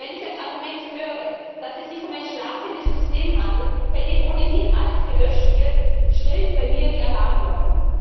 Wenn ich als Argument höre, dass es sich um ein schlafendes System handelt, bei dem ohnehin alles gelöscht wird, schrillen bei mir die Alarmglocken.